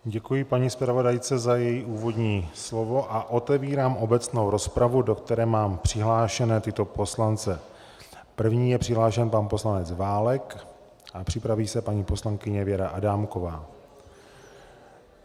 Děkuji paní zpravodajce za její úvodní slovo a otevírám obecnou rozpravu, do které mám přihlášené tyto poslance: první je přihlášen pan poslanec Válek a připraví se paní poslankyně Věra Adámková.